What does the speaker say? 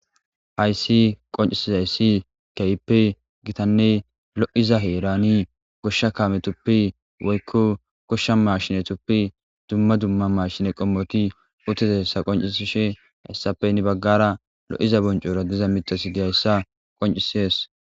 hayssi qoncisizayssi keyipe gitanne lo7iza heerani goshsha kaametuppi woykko goshsha mashine tuppi dumma dumma mashine qommoti utezeessa qoncisushe hayssape ni baggara lo7iza boncora diza mitasi diyayssa qoncisees